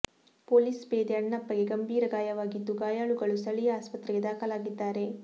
police ಪೇದೆ ಅಣ್ಣಪ್ಪಗೆ ಗಂಭೀರ ಗಾಯವಾಗಿದ್ದು ಗಾಯಾಳುಗಳು ಸ್ಥಳೀಯ ಆಸ್ಪತ್ರೆಗೆ ದಾಖಲಾಗಿದ್ದಾರೆ